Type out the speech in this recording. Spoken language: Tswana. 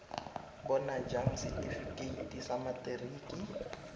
bona jang setifikeite sa materiki